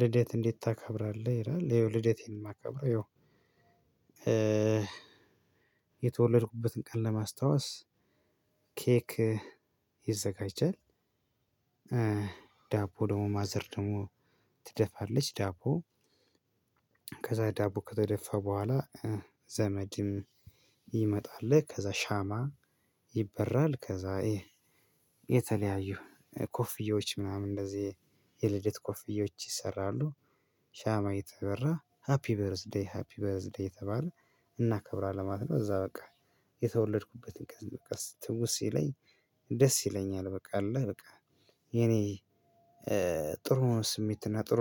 ልደት እንዴት ታከብራለህ? ይላል ያው ልደት ማከብረው ያው እ የተወለድኩበትን ቀን ለማስታወስ ኬክ ይዘጋጃል። ዳቦ ደግሞ ማዘር ደግሞ ትደፋለች ዳቦ ከዛ ዳቦ ከተደፋ በኋላ ዘመድም ይመጣል አለ ከዛ ሻማ ይበራል፣ ከዛ የተለያዩ ኮፍዬዎች ምናምን እንደዚህ የልደት ኮፍዬዎች ይሰራሉ። ሻማ ተበራ ሃፒ በረዝ ዴይ ሃፒ በረዝ ዴይ የተባለ እናከብራለን ለማለት ነው እዛ በቃ የተወለድኩበትን ትውስት ሲለኝ ደስ ይለኛል በቃ አለ በቃ የኔ ጥሩ ስሜት እና ጥሩ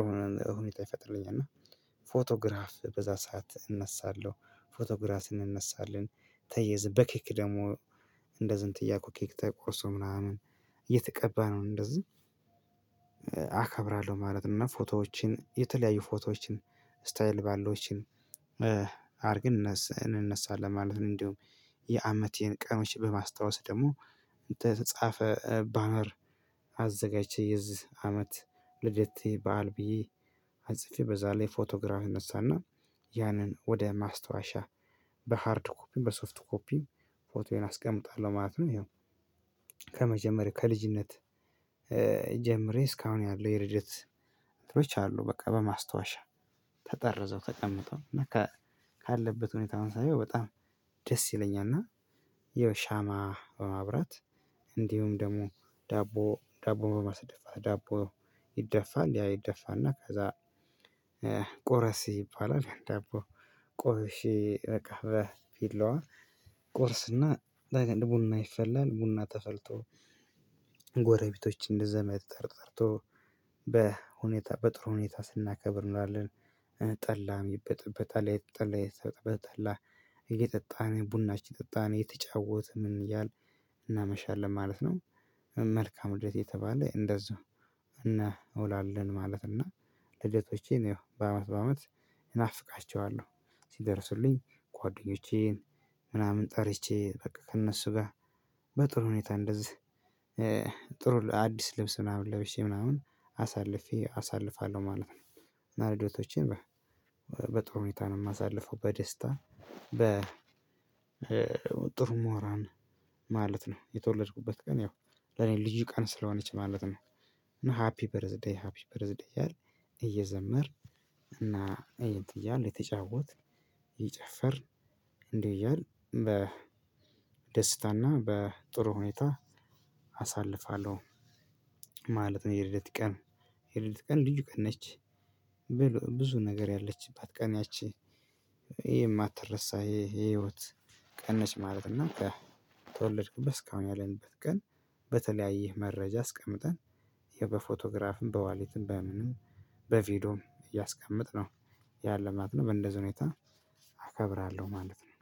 ሁኔታ ይፈጥለኛል እና ፎቶግራፍ በዛ ሰዓት እነሳለሁ። ፎቶግራፍን እነሳለን ተያይዘን በኬክ ደግሞ እንደዚህን እንትን እኮ ኬክ ተቆርሶ ምናምን እየተቀባ ነው እንደዚህ አከብራለሁ ማለት ነው። ፎቶዎችን የተለያዩ ፎቶዎችን ስታይል ባሎችን አድርግን እነስ እንነሳለን ማለት ነው እንደውም የአመቴን ቀኖች በማስታወስ ደግሞ ተጻፈ ባነር አዘጋጅቼ የዚህ አመት የልደቴ በዓል ብየ ተጽፌ በዛ ላይ ፎቶግራፍ እነሳ እና ያንን ወደ ማስታወሻ በሃርድ ኮፒም በሶፍት ኮፒም ፎቶዬን አስቀምጣለሁ ማለት ነው። ከመጀመሪያ ከልጅነት ጀምሬ እስካሁን ያለው የልደት እንቶች አሉ በቃ በማስታወሻ ተጠርዘው ተቀምጠው እና ካለበት ሁኔታውን ሳየው በጣም ደስ ይለኛል እና የሻማ በማብራት እንዲሁም ደግሞ ዳቦ ዳቦ በማስደፋት ዳቦ ይደፋል ያ ይደፋልና ከዛ ይቆረስ ይባላል ዳቦ ቆረሼ በቃ በቢላዋ እቆረስ እና ለእኔ ቡና አይፈለን ቡና ተፈልቶ ጎረቤቶችን እንደዘመድ ጠርጠርቶ በሁኔታ በጥሩ ሁኔታ ስናከብር እንውላለን፣ ጠላም ይበጠበጠል ይጠላም ይጠጣም ቡናችን ጠጣን የተጫወት ምን እያል እናመሻለን ማለት ነው። መልካም ልደት እየተባለ እንደዛ እንወላለን ማለት እና ልደቶቼን በአመት በአመት እናፍቃቸዋለሁ ሲደርሱልኝ ጓደኞቼን ምናምን ጠርቼ በቃ ከእነሱ ጋር በጥሩ ሁኔታ እንደዚህ ጥሩ አዲስ ልብስ ምናምን ለብሼ ምናምን አሳልፌ አሳልፋለሁ ማለት ነው። ልደቶቼ በጥሩ ሁኔታ ነው የማሳልፈው በደስታ በ ጥሩ ሞራን ማለት ነው። የተወለድኩበት ቀን ያው ለኔ ልዩ ቀን ስለሆነች ማለት ነው እና ሃፒ በርዝዴይ ሃፒ በርዝዴይ ያለ እየዘመር እና እየተያወት እየተጫወት ይጨፈር እንዲህ እያል በ ደስታና በጥሩ ሁኔታ አሳልፋለሁ ማለት ነው። የልደት ቀን የልደት ቀን ልዩ ቀን ነች ብዙ ነገር ያለችባት ቀን ያቺ የማትረሳ የህይወት ቀን ነች ማለት እና ከተወለድኩበት እስካሁን ያለንበት ቀን በተለያየ መረጃ አስቀምጠን ይሄ በፎቶግራፍም በዋሊትም በምንም በቪዲዮም እያስቀመጥነው ያን ለማለት ነው በእንደዚህ ሁኔታ አከብራለሁ ማለት ነው።